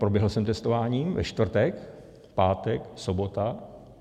Proběhl jsem testováním ve čtvrtek, pátek, sobota.